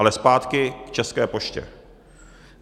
Ale zpátky k České poště.